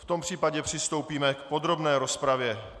V tom případě přistoupíme k podrobné rozpravě.